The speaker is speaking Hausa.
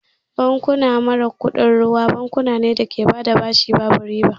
Bankuna mara kuɗin ruwa bankuna ne da ke bada bashi babu riba